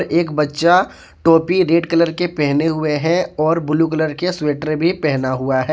एक बच्चा टोपी रेड कलर के पहने हुए है और ब्लू कलर के स्वेटर भी पहना हुआ है।